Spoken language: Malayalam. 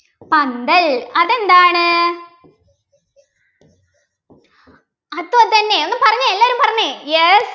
പന്തൽ അതെന്താണ് അത് അതെന്നെ ഒന്ന് പറഞ്ഞെ എല്ലാരും പറഞ്ഞെ yes